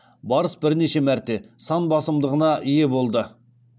барыс бірнеше мәрте сан басымдығыне ие болды